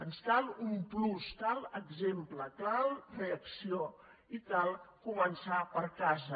ens cal un plus cal exemple cal reacció i cal començar per casa